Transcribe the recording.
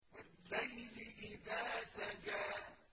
وَاللَّيْلِ إِذَا سَجَىٰ